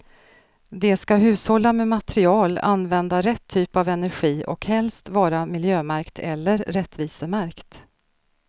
De ska hushålla med material, använda rätt typ av energi och helst vara miljömärkt eller rättvisemärkt.